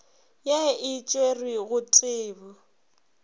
ye e tšerwe go tebu